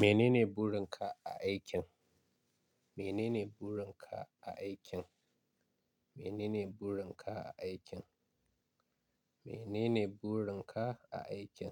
Mene ne burin ka a aikin? Mene ne burin ka a aikin? Mene ne burin ka a aikin? Mene ne burin ka a aikin?